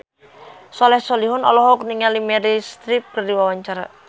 Soleh Solihun olohok ningali Meryl Streep keur diwawancara